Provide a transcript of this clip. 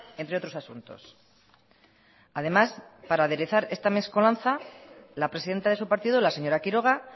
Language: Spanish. entre otros asuntos además para aderezar esta mescolanza la presidenta de su partido la señora quiroga